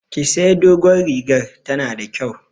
Ki sayi dogon rigar, ta na da kyau!